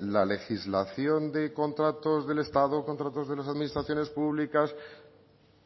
la legislación de contratos del estado contratos de las administraciones públicas